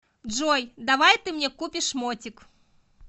джой давай ты мне купишь мотик